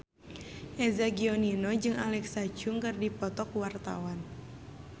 Eza Gionino jeung Alexa Chung keur dipoto ku wartawan